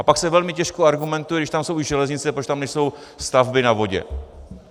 A pak se velmi těžko argumentuje, když tam jsou i železnice, proč tam nejsou stavby na vodě.